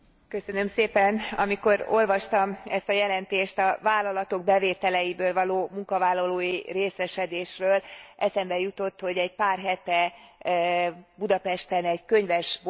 Amikor olvastam ezt a jelentést a vállalatok bevételeiből való munkavállalói részesedésről, eszembe jutott, hogy egy pár hete Budapesten egy könyvesboltban jártam.